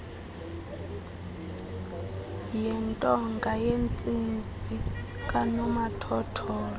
yentonga yentsimbi kanomathotholo